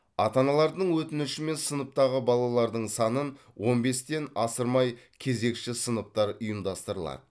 ата аналардың өтінішімен сыныптағы балалардың санын он бестен асырмай кезекші сыныптар ұйымдастырылады